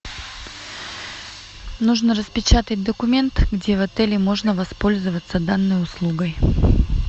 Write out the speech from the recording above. нужно распечатать документ где в отеле можно воспользоваться данной услугой